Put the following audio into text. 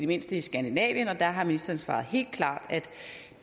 mindste i skandinavien og der har ministeren svaret helt klart